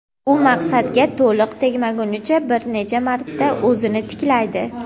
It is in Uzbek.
u maqsadga to‘liq tegmaguncha bir necha marta o‘zini tiklaydi.